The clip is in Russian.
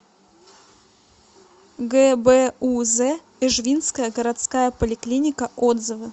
гбуз эжвинская городская поликлиника отзывы